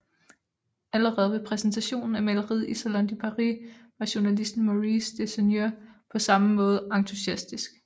Allerede ved præsentationen af maleriet i Salon de Paris var journalisten Maurice de Seigneur på samme måde entusiastisk